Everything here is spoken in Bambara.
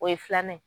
O ye filan ye